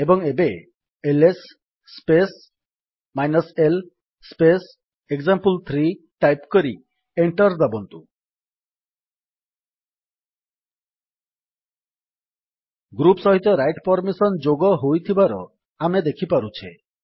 ଏବଂ ଏବେ LS space l space example three type କରି ଏଣ୍ଟର୍ ଦାବନ୍ତୁ ଗ୍ରୁପ୍ ସହିତ ରାଇଟ୍ ପର୍ମିସନ୍ ଯୋଗ ହୋଇଥିବାର ଆମେ ଦେଖିପାରୁଛେ